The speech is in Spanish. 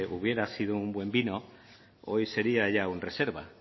hubiera sido un buen vino hoy sería ya un reserva